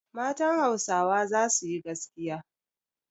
Matan Hausawa za su yi gaskiya.